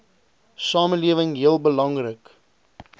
samelewing heel belangrik